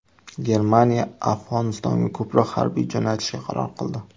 Germaniya Afg‘onistonga ko‘proq harbiy jo‘natishga qaror qildi.